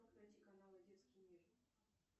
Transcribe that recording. найди каналы детский мир